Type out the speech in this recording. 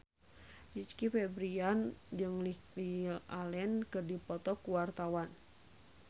Rizky Febian jeung Lily Allen keur dipoto ku wartawan